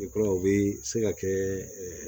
I kura u bɛ se ka kɛ